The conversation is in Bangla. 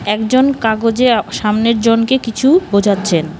একজন কাগজে সামনের জনকে কিছু বোঝাচ্ছেন।